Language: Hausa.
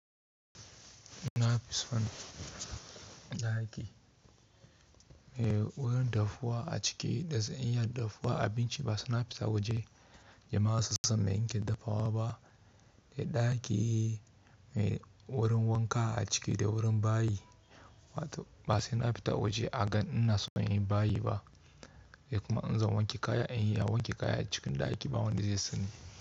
Na fison ɗaki mai wurin dafuwa a ciki, dazan iya yi dafuwa abinci ba saina fita waje. Jama'a sun san mai nike dafawa ba. Dai ɗaki mai wurin wanka a ciki da wurin bayi, wato ba saina fita waje a ganni ina son yin bayi ba, sai kuma in zan wanke kaya, in yi wanke kaya cikin ɗaki ba wanda zai sani.